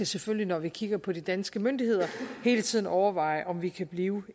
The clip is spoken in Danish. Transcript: selvfølgelig når vi kigger på de danske myndigheder hele tiden skal overveje om vi kan blive